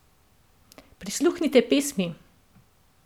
Prisluhnite pesmi!